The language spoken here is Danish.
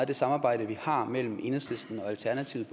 det samarbejde vi har mellem enhedslisten og alternativet